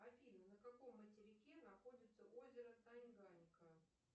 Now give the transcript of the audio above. афина на каком материке находится озеро тайганька